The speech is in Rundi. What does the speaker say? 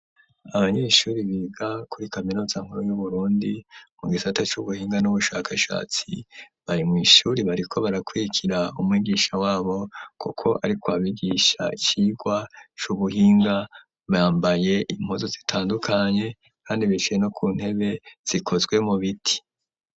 Abanyeshuri biga kuri kaminuza nkuru y'uburundi mu gisata c'ubuhinga n'ubushakashatsi biri mu ishuri bariko barakuriikira umwigisha wabo kuko ariko abigisha kirwa c'ubuhinga bambaye impuzu zitandukanye kandi bicaye no ku ntebe zikozwemo ibiti.